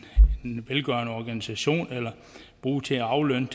velgørende organisation eller bruges til aflønning